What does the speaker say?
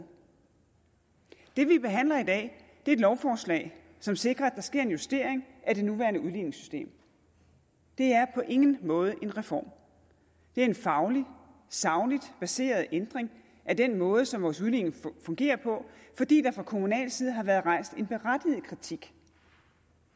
det vi behandler i dag er et lovforslag som sikrer at der sker en justering af det nuværende udligningssystem det er på ingen måde en reform det er en fagligt sagligt baseret ændring af den måde som vores udligning fungerer på fordi der fra kommunal side har været rejst en berettiget kritik